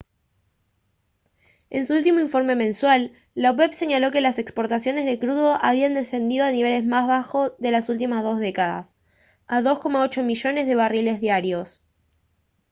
en su último informe mensual la opep señaló que las exportaciones de crudo habían descendido al nivel más bajo de las últimas dos décadas a 2,8 millones de barriles diarios